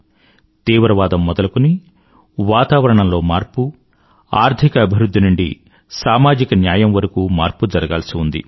తీవ్రవాదం మొదలుకొని వాతావరణంలో మార్పు అర్థిక అభివృధ్ధి నుండీ సామాజిక న్యాయం వరకూ మార్పు జరగాల్సి ఉంది